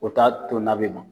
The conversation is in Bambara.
O t'a to n'a be na.